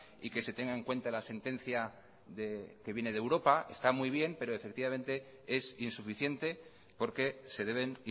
y que se tenga en cuenta la sentencia que viene de europa está muy bien pero efectivamente es insuficiente porque se deben